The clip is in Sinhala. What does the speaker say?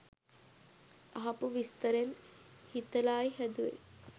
අහපු විස්තරෙන් හිතලායි හැදුවේ!